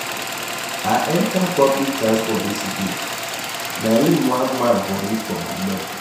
I enter public transport yesterday na im one man vomit for my leg